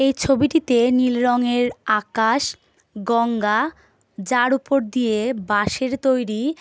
এই ছবিটিতে নীল রঙের আকাশ গঙ্গা যার ওপর দিয়ে বাঁশের তৈরী--